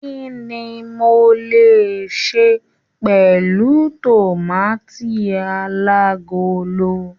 Kínní mo le se pẹlu tomaati alagolo?